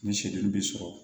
Ni seli bɛ sɔrɔ